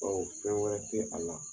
Bawo fɛn wɛrɛ te a la.